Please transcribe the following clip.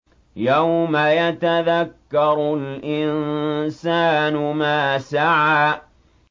يَوْمَ يَتَذَكَّرُ الْإِنسَانُ مَا سَعَىٰ